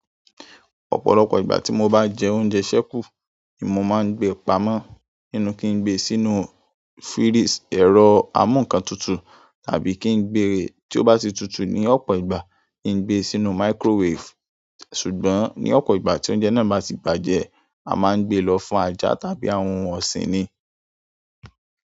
Ọ̀pọ̀lọpọ̀ ìgbà tí mo bá jẹ oúnjẹ sẹ́kù, ni mo máa ń gbé pamọ́ nínú kí n gbe sínú ẹ̀rọ amúǹkantutù tàbí kí n gbe tí ó bá ti tutù ní ọ̀pọ̀ ìgbà kí n gbe sínú microwave. Ṣùgbọ́n ní ọ̀pọ̀ ìgbà tí oúnjẹ náà bá ti bàjẹ́, a máa ń gbé lọ fún ajá tàbí àwọn ohun ọ̀sìn ni.